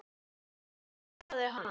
Hverju svaraði hann?